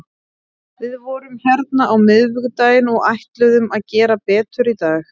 Við vorum hérna á miðvikudaginn og ætluðum að gera betur í dag.